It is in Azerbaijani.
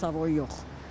Ve savoy yox.